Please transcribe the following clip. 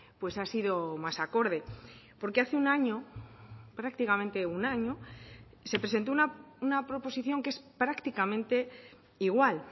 pues ha sido más acorde porque hace un año prácticamente un año se presentó una proposición que es prácticamente igual